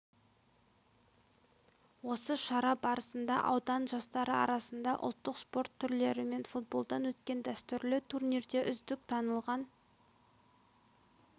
осы шара барысында аудан жастары арасында ұлттық спорт түрлері мен футболдан өткен дәстүрлі турнирде үздік танылған